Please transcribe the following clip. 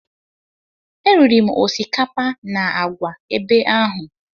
Eriri m osikapa na àgwà ebe ahụ.